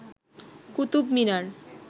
Qutub Minar